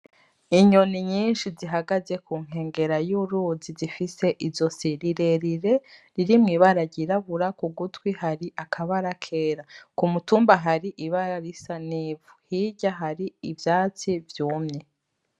Inyoni nyinshi zihagaze ku nkengera y'uruzi zifise izosi rirerire rir mw'ibara ry'irabura kugutwi hari akabara kera kumutumba hari ibara risa n'ivu hirya hari ivyatsi vyumye.